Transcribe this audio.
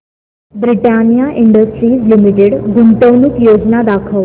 Britannia Industries Limited गुंतवणूक योजना दाखव